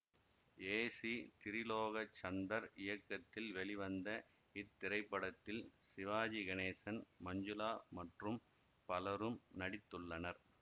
ஏ C Tirulokchandar இயக்கத்தில் வெளிவந்த இத்திரைப்படத்தில் சிவாஜி கணேசன் மஞ்சுளா மற்றும் பலரும் நடித்துள்ளனர்